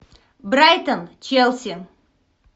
брайтон челси